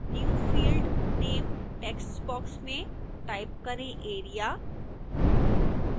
new field name text box में type करें area